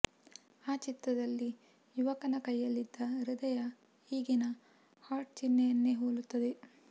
ಆ ಚಿತ್ರದಲ್ಲಿ ಯುವಕನ ಕೈಯಲ್ಲಿದ್ದ ಹೃದಯ ಈಗಿನ ಹಾರ್ಟ್ ಚಿಹ್ನೆಯನ್ನೇ ಹೋಲುತ್ತದೆ